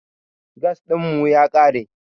Gas ɗin mu ya ƙare.